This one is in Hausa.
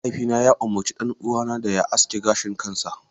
Mahaifina ya umarci ɗan uwana da ya aske gashin kansa.